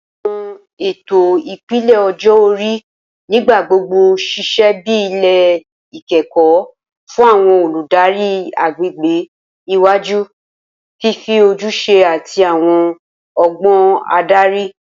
Awọn eto ipele ọjọ-ori nigbagbogbo ṣiṣẹ bi ilẹ ikẹkọ fun awọn oludari agbegbe iwaju, fifi ojuse ati awọn ọgbọn adari